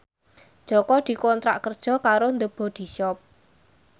Jaka dikontrak kerja karo The Body Shop